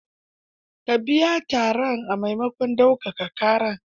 Ka biya tarar a maimakon daukaka ƙarar.